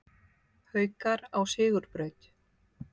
Haukar á sigurbraut